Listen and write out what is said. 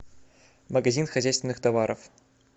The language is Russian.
магазин хозяйственных товаров